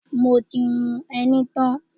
Mo ti hun ẹní tán.